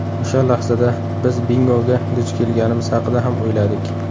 O‘sha lahzada biz bingoga duch kelganimiz haqida ham o‘yladik.